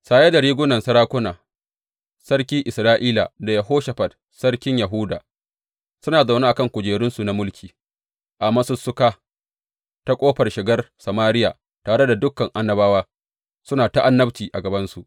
Saye da rigunan sarakuna, sarki Isra’ila da Yehoshafat sarkin Yahuda suna zaune a kan kujerunsu na mulki a masussuka ta ƙofar shigar Samariya, tare da dukan annabawa suna ta annabci a gabansu.